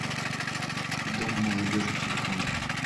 дом молодежи телефон